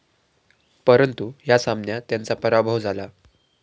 परंतु या सामन्यात त्यांचा पराभव झाला.